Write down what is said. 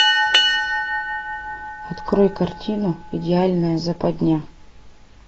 открой картину идеальная западня